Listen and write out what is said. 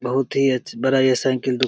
बहुत ही अच बड़ा ये साइकिल दु --